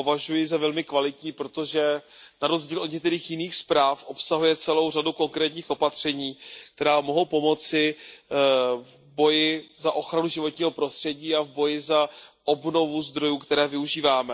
Považuji ji za velmi kvalitní, protože na rozdíl od některých jiných zpráv obsahuje celou řadu konkrétních opatření, která mohou pomoci v boji za ochranu životního prostředí a v boji za obnovu zdrojů, které využíváme.